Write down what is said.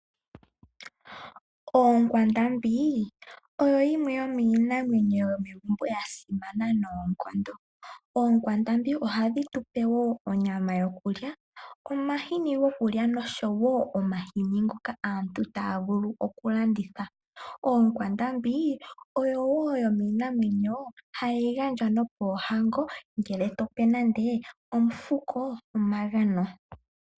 Oonkwandambi oyo yimwe yomiinamwenyo yomegumbo yasimana noonkondo. Oonkwandambi ohadhi tupe woo onyama yokulya, nomahi gokulya nosho woo omahini ngoka aantu taavulu okulanditha. Oonkwandambi oyo woo yomiinamwenyo hayigandjwa nopoohango ngele tope nande omufukoo omagano.